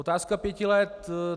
Otázka pěti let.